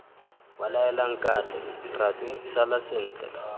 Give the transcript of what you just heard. belaela nkatle ratu sala sentle